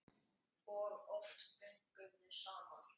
Og oft göngum við saman.